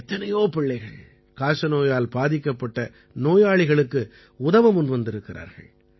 எத்தனையோ பிள்ளைகள் காசநோயால் பாதிக்கப்பட்ட நோயாளிகளுக்கு உதவ முன்வந்திருக்கிறார்கள்